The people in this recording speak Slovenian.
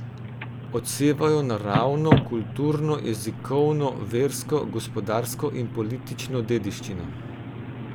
Odsevajo naravno, kulturno, jezikovno, versko, gospodarsko in politično dediščino.